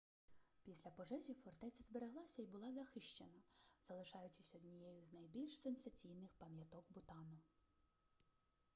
після пожежі фортеця збереглася і була захищена залишаючись однією з найбільш сенсаційних пам'яток бутану